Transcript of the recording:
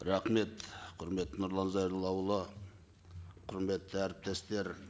рахмет құрметті нұрлан зайроллаұлы құрметті әріптестер